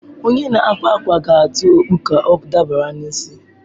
Onye na-akwa akwa ga-atụ okpu ka ọ dabara n'isi m.